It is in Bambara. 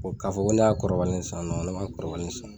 K'a fɔ ko ne y'a kɔrɔbalen san ne m'a kɔrɔbalen san